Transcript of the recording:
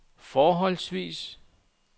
forholdsvis